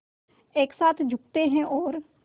एक साथ झुकते हैं और